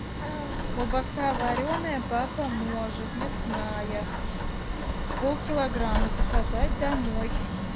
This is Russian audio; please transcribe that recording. колбаса вареная папа может мясная полкилограмма заказать домой